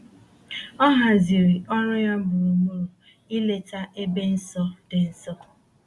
O haziri ọrụ ya gburugburu ileta ebe nsọ dị nso.